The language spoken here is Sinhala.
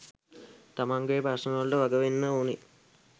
තමන්ගෙ ප්‍රශ්න වලට වග වෙන්න ඕන